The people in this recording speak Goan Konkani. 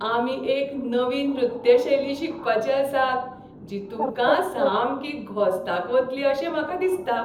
आमी एक नवी नृत्य शैली शिकपाचे आसात जी तुमकां सामकी घोस्ताक वतली अशें म्हाका दिसता.